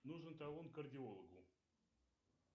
нужен талон к кардиологу